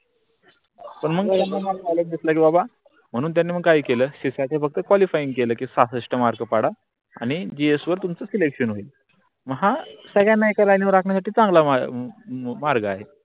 म्हणून त्यांनी मग काय केल सिशाच फक्त qualifying केल सहासष्ट मार्क पाडा आणि GS वर तुम्हच selection हा सर्वांना एका लाईनीवर राखण्यासाठी चांगला मार्ग आहे.